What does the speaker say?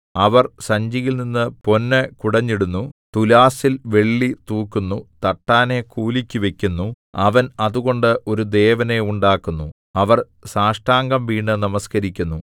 അവർ സഞ്ചിയിൽനിന്നു പൊന്ന് കുടഞ്ഞിടുന്നു തുലാസ്സിൽ വെള്ളി തൂക്കുന്നു തട്ടാനെ കൂലിക്ക് വയ്ക്കുന്നു അവൻ അതുകൊണ്ട് ഒരു ദേവനെ ഉണ്ടാക്കുന്നു അവർ സാഷ്ടാംഗം വീണു നമസ്കരിക്കുന്നു